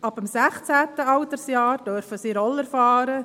Ab dem 16. Altersjahr dürfen sie Roller fahren.